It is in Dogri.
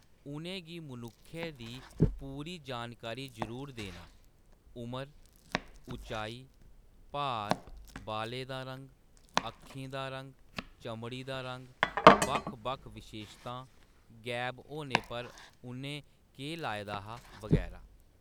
उʼनें गी मनुक्खै दी पूरी जानकारी जरूर देना: उमर, उचाई, भार, बालें दा रंग, अक्खीं दा रंग, चमड़ी दा रंग, बक्ख-बक्ख विशेशतां, गैब होने पर उʼनें केह्‌‌ लाए दा हा, बगैरा।